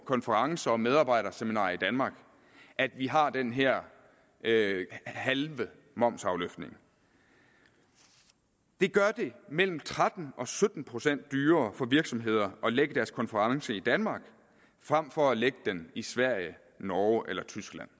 konferencer og medarbejderseminarer i danmark at vi har den her halve momsafløftning det gør det mellem tretten og sytten procent dyrere for virksomheder at lægge deres konference i danmark frem for at lægge den i sverige norge eller tyskland